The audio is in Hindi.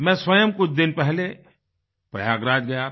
मैं स्वयं कुछ दिन पहले प्रयागराज गया था